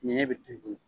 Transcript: Ɲɛ bɛ tobi